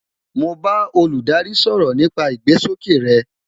Mo bá olùdarí sọ̀rọ̀ nípa ìgbésókè rey